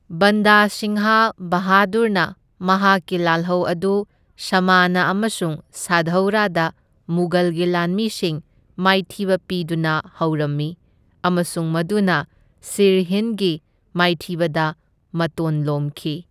ꯕꯟꯗꯥ ꯁꯤꯡꯍ ꯕꯍꯥꯗꯨꯔꯅ ꯃꯍꯥꯛꯀꯤ ꯂꯥꯜꯍꯧ ꯑꯗꯨ ꯁꯃꯥꯅ ꯑꯃꯁꯨꯡ ꯁꯥꯙꯧꯔꯥꯗ ꯃꯨꯘꯜꯒꯤ ꯂꯥꯟꯃꯤꯁꯤꯡ ꯃꯥꯏꯊꯤꯕ ꯄꯤꯗꯨꯅ ꯍꯧꯔꯝꯃꯤ ꯑꯃꯁꯨꯡ ꯃꯗꯨꯅ ꯁꯤꯔꯍꯤꯟꯗꯒꯤ ꯃꯥꯏꯊꯤꯕꯗ ꯃꯇꯣꯟ ꯂꯣꯝꯈꯤ꯫